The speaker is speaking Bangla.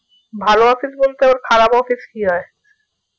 ভালো office বলতে আবার খারাপ office কি হয়